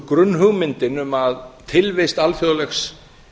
grunnhugmyndin um að tilvist alþjóðlegs